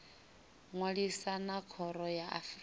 ṅwalisa na khoro ya afrika